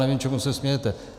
Nevím, čemu se smějete.